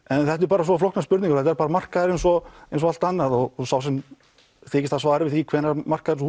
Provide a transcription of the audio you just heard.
en þetta eru bara svo flóknar spurningar þetta er bara markaður eins og eins og allt annað og sá sem þykist hafa svarið við því hvenær markaðurinn